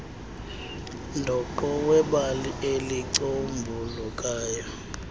dooqo webali elicombulukayo